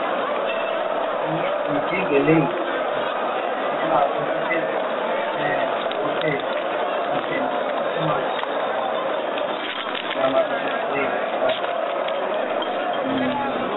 নিজে গেলেই দেখা যাবে। সেখানে আহ বসে আছেন। এতো মানুষ নতুন নতুন জামাকাপড় পরে তার সামনে গিয়ে উম